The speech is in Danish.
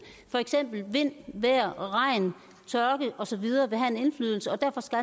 for eksempel vil vind vejr regn tørke og så videre have en indflydelse og derfor skal